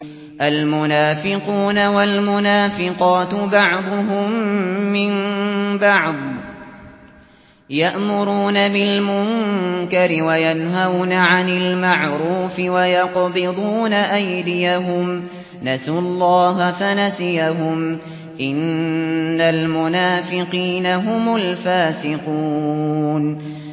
الْمُنَافِقُونَ وَالْمُنَافِقَاتُ بَعْضُهُم مِّن بَعْضٍ ۚ يَأْمُرُونَ بِالْمُنكَرِ وَيَنْهَوْنَ عَنِ الْمَعْرُوفِ وَيَقْبِضُونَ أَيْدِيَهُمْ ۚ نَسُوا اللَّهَ فَنَسِيَهُمْ ۗ إِنَّ الْمُنَافِقِينَ هُمُ الْفَاسِقُونَ